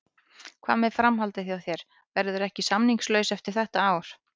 Hvað með framhaldið hjá þér, verðurðu ekki samningslaus eftir þetta ár?